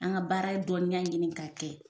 An ka baara dɔninya ɲini ka kɛ.